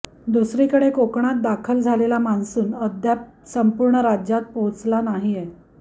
दुसरीकडे कोकणात दाखल झालेला मान्सून अद्याप संपूर्ण राज्यात पोहोचला नाहीये